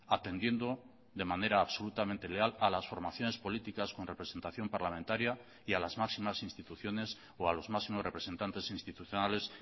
atendiendo de manera absolutamente leal a las formaciones políticas con representación parlamentaria y a las máximas instituciones o a los máximos representantes institucionales